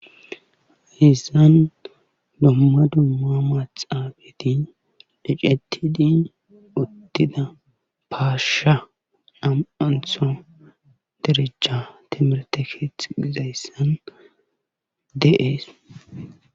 haydan duma dumma maxaabeti ecetidi uttida paasha nam7antho derecha temerete keexizayssan de7ees